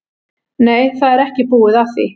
Nei, það er ekki búið að því.